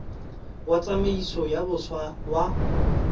wa tsamaiso ya boswa wa